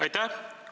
Aitäh!